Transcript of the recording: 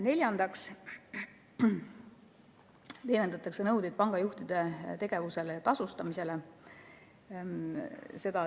Neljandaks leevendatakse pangajuhtide tegevusele ja tasustamisele esitatavaid nõudeid.